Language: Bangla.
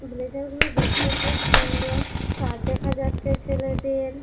ব্রেজার -গুলো দেখতে খুব সুন্দর । শার্ট দেখা যাচ্ছে ছেলেদের--